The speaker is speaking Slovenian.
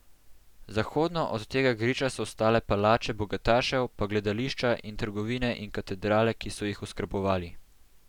Zahodno od tega griča so stale palače bogatašev pa gledališča in trgovine in katedrale, ki so jih oskrbovali.